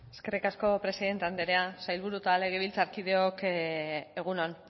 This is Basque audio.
eskerrik asko presidente andrea sailburu eta legebiltzarkideok egun on